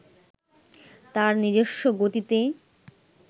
তার নিজস্ব গতিতে